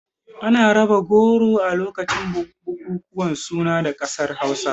Ana raba goro a lokacin bukukuwan suna a ƙasar Hausa.